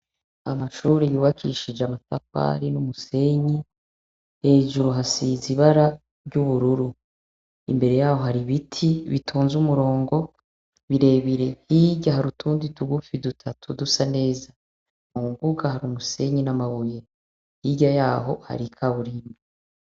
Amashure yubakishije amatafari n'umusenyi ; hejuru hasize ibara ry'ubururu. Imbere y'aho hari ibiti bitonze umurongo, birebire. Hirya hari utundi tugufi, dutatu, dusa neza. Mu mbuga hari umusenyi n'amabuye. Hirya y'aho hari ikaburimbo.